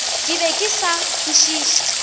ke be ke sa kwešiše